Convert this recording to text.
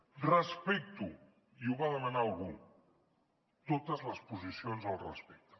respecto i ho va demanar algú totes les posicions al respecte